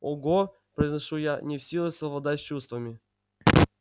ого произношу я не в силах совладать с чувствами